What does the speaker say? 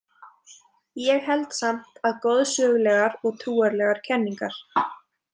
Ég held samt að goðsögulegar og trúarlegar kenningar.